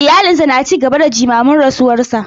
Iyalinsa na ci gaba da jimamin rasuwarsa.